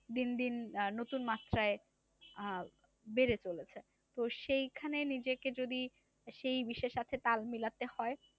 দিনদিন নতুন মাত্রায় আহ বেড়ে চলেছে তো সেইখানে নিজেকে যদি সেই বিশ্বের সাথে তাল মিলাতে হয়।